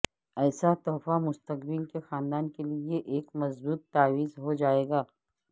ایسا تحفہ مستقبل کے خاندان کے لئے ایک مضبوط تاویز ہو جائے گا